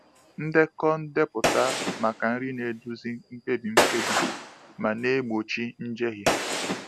Ndekọ ndepụta maka nri na-eduzi mkpebi mkpebi ma na-egbochi njehie.